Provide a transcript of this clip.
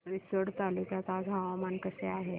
रिसोड तालुक्यात आज हवामान कसे आहे